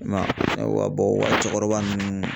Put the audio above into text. I m'a ye wa wa cɛkɔrɔba nunnu